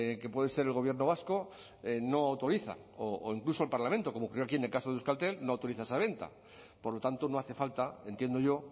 que puede ser el gobierno vasco no autoriza o incluso el parlamento como creo aquí en el caso de euskaltel no autoriza esa venta por lo tanto no hace falta entiendo yo